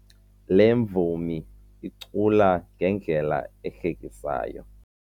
Le mvumi icula ngendlela ehlekisayo.